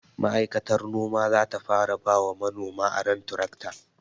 Ma'aikatar noma zata fara bawa manoma aron tirakta